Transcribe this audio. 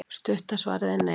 stutta svarið er nei